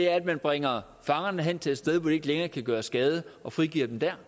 er at man bringer fangerne hen til et sted hvor de ikke længere kan gøre skade og frigiver dem der